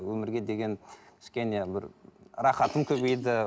өмірге деген кішкене бір рахатым көбейді